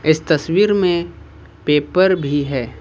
इस तस्वीर में पेपर भी है।